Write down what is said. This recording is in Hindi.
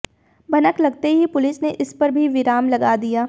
भनक लगते ही पुलिस ने इस पर भी विराम लगा दिया